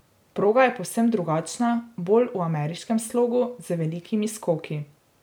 Proga je povsem drugačna, bolj v ameriškem slogu, z velikimi skoki.